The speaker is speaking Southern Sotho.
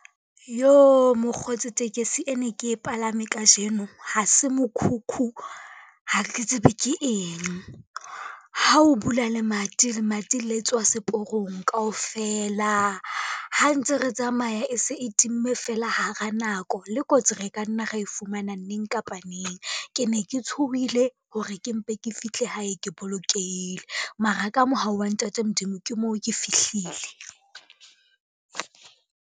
Yoh! Mokgotsi tekesi e ne ke e palame kajeno, ha se mokhukhu, ha re tsebe ke eng. Ha o bula lemati, lemati le tswa seporong kaofela, ha ntse re tsamaya e se e timme fela hara nako, le kotsi re ka nna ra e fumana neng kapa neng. Ke ne ke tshohile hore ke mpe ke fihle hae ke bolokehile, mara ka mohau wa ntate Modimo ke moo ke fihlile.